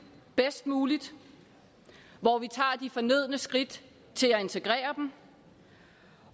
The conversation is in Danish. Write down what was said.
bedst muligt hvor vi tager de fornødne skridt til at integrere dem